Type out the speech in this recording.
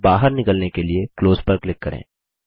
बाहर निकलने के लिए क्लोज पर क्लिक करें